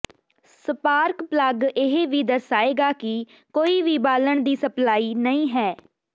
spark plug ਇਹ ਵੀ ਦਰਸਾਏਗਾ ਕਿ ਕੋਈ ਵੀ ਬਾਲਣ ਦੀ ਸਪਲਾਈ ਨਹੀਂ ਹੈ